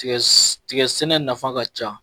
Tigɛ sɛ tigɛ sɛnɛ nafa ka ca